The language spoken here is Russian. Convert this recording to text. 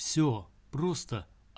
всё просто